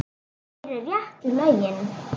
Þú gerir réttu lögin.